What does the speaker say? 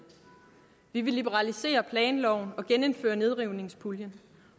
vi vil liberalisere planloven og genindføre nedrivningspuljen